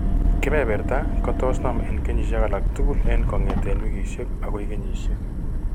Keberberta kotos konam en kenyisiek alak tugul en kongeten wikisiek ako kenyisiek.